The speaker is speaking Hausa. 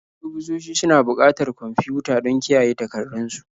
Ofisoshi suna buƙatar kwamfiyuta don kiyaye takardun su.